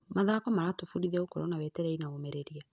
Mathako maratũbundithia gũkorwo na wetereri na ũmĩrĩria.